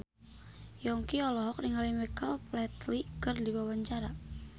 Yongki olohok ningali Michael Flatley keur diwawancara